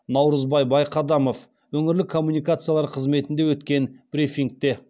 наурызбай байқадамов өңірлік коммуникациялар қызметінде өткен брифингте